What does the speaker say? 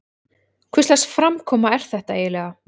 Hvurslags framkoma er þetta eiginlega?